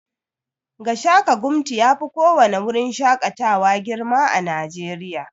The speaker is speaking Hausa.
Gashaka-gumti yafi ko wani wurin shakatawa girma a najeriya